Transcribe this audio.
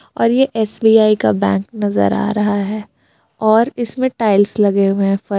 और ये एस_बी_आई का बैंक नजर आ रहा है और इसमें टाइल्स लगे हुए हैं फर्स--